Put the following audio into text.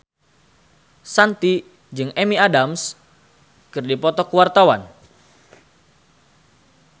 Shanti jeung Amy Adams keur dipoto ku wartawan